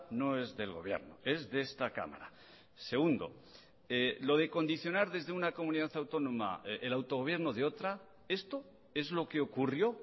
no es del gobierno es de esta cámara segundo lo de condicionar desde una comunidad autónoma el autogobierno de otra esto es lo que ocurrió